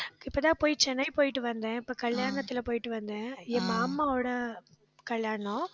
இப்பதான் போய் சென்னை போயிட்டு வந்தேன். இப்ப கல்யாணத்துல போயிட்டு வந்தேன். என் மாமாவோட கல்யாணம்.